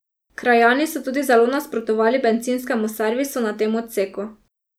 Krajani so tudi zelo nasprotovali bencinskemu servisu na tem odseku.